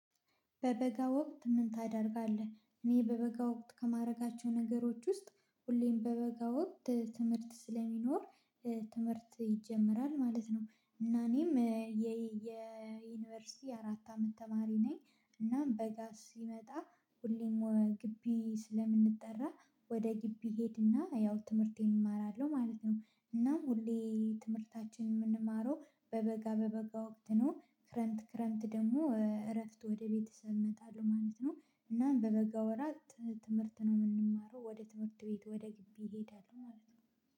በበጋ ወቅት ምን ታደርጋለህ? እኔ በበጋ ወቅት ከማድረጋቸው ነገሮች ውስጥ ሁሌም በበጋ ወቅት ትምህርት ስለሚኖር ትምህርት ይጀመራል ማለት ነው። እና እኔም የዩኒቨርሲቲ አራት አመት ተማሪ ነኝ። እናም በጋ ሲመጣ ሁሌም ግቢ ስለምንጠራ ወደ ግቢ እሄድና ያው ትምህርቴን እማራለሁ ማለት ነው። እና ሁሌ ትምህርታችን የምንማረው በበጋ በበጋ ወቅት ነው ክረምት ክረምት ደግሞ እረፍት ወደ ቤተሰብ እመጣለሁ ማለት ነው። እና በበጋ ወራት ትምህርት ነው የምንማረው ወደ ትምህርት ቤት ወደ ግቢ እሄዳለሁ ማለት ነው